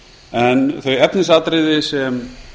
en þau efnisatriði sem